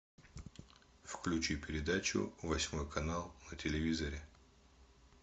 включи передачу восьмой канал на телевизоре